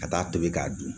Ka taa tobi k'a dun